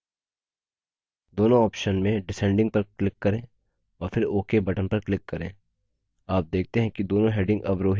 दोनों options में descending पर click करें और फिर ok button पर click करें